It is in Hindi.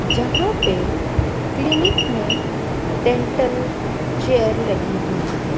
जहां पे क्लीनिक में डेंटल चेयर लगी हुई है।